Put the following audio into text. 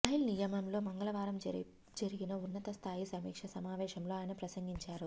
rail నిలయంలో మంగళవారం జరిగిన ఉన్నత స్థాయి సమీక్ష సమావేశంలో ఆయన ప్రసంగించారు